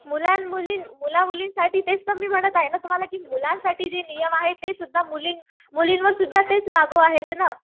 मुलामुलींसाठी तेच तर मी म्हणत आहे ना तुम्हाला कि मुलांसाठी जे नियम आहेत ते सुद्धा मुलींवर सुद्धा तेच लागू आहेत ना.